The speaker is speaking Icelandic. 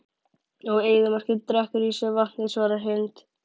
Og eyðimörkin drekkur í sig vatnið svarar Hind.